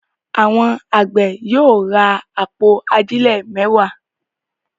Àwọn àgbẹ̀ yóò ra àpò ajílẹ̀ mẹ́wàá.